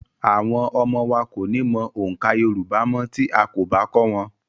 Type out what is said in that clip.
Àwọn ọmọ wa kò ní mọ oǹkà Yorùbá mọ́ tí a kò bá kọ́ wọn.